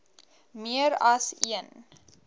meer as een